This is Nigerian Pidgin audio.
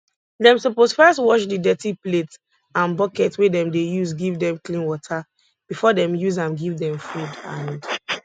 dem suppose first wash the dirty plate and bucket wey dem dey use give them clean water before dem use am give dem food and